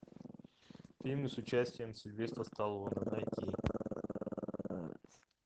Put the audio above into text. фильмы с участием сильвестра сталлоне найти